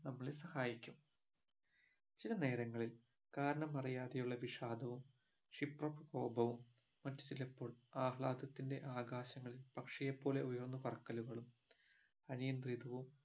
നമ്മളെ സഹായിക്കും ചില നേരങ്ങളിൽ കാരണം അറിയാതെയുള്ള വിഷാദവും ക്ഷിപ്രകോപവും മറ്റുചിലപ്പോൾ ആഹ്ലാദത്തിന്റെ ആകാശങ്ങളിൽ പക്ഷിയെപ്പോലെ ഉയർന്നു പാറക്കലുകളും അനിയന്ത്രിതവും